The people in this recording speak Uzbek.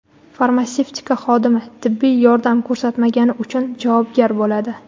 Farmatsevtika xodimi tibbiy yordam ko‘rsatmagani uchun javobgar bo‘ladi.